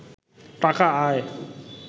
টাকা আয়